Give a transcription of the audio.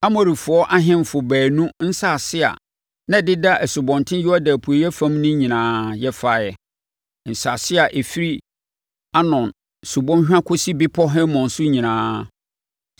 Amorifoɔ ahemfo baanu nsase a na ɛdeda Asubɔnten Yordan apueeɛ fam no nyinaa, yɛfaeɛ—nsase a ɛfiri Arnon subɔnhwa kɔsi bepɔ Hermon so nyinaa.